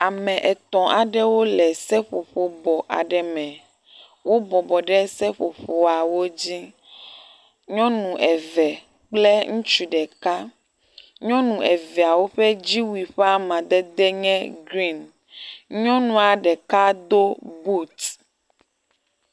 Ame etɔ̃ aɖewo le seƒoƒo bɔ aɖe me. Wo bɔbɔ ɖe seƒoƒoawo dzi. Nyɔnu eve kple ŋutsu ɖeka. Nyɔnu eveawo ƒe dziwui ƒe amadedewo nye grin. Nyɔnua ɖeka do but.